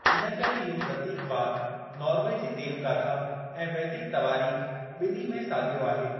इन करे इहो प्रतीकवाद नॉर्वे जी देवगाथा ऐं वैदिक तवारीख़, बिनी में साॻियो आहे।